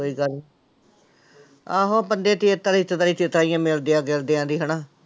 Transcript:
ਕੋਈ ਗੱਲ ਆਹੋ ਬੰਦੇ ਮਿਲਦਿਆਂ ਗਿਲਦਿਆਂ ਦੀ ਹਨਾ।